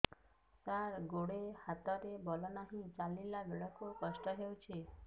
ସାର ଗୋଡୋ ହାତରେ ବଳ ନାହିଁ ଚାଲିଲା ବେଳକୁ କଷ୍ଟ ହେଉଛି